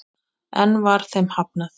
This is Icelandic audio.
Enn var þeim hafnað.